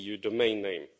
.eu domain name.